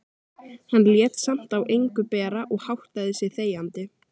Hann lét samt á engu bera og háttaði sig þegjandi.